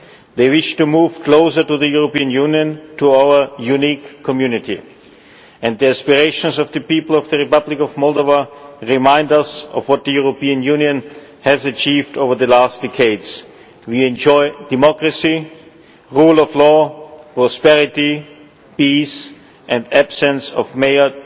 They wish to move closer to the European Union, to our unique community, and the aspirations of the people of the Republic of Moldova remind us of what the European Union has achieved over the last decades. We enjoy democracy, the rule of law, prosperity, peace and absence of major